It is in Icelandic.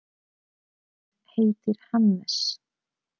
Hann heitir Hannes.